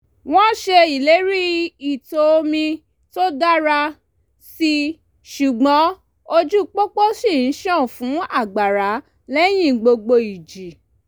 wọ́n ṣe ìlérí ìtọ̀ omi tó dára síi ṣùgbọ́n ojú pópó ṣì ń ṣàn fún àgbàrá lẹ́yìn gbogbo ìjì